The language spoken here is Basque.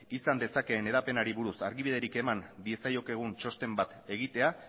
izan dezakeen hedapenari buruz argibiderik eman diezaiokegun txosten bat egitea